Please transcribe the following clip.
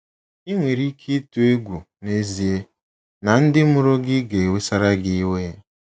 Ị nwere ike ịtụ egwu n'ezie na ndị mụrụ gị ga-ewesara gị iwe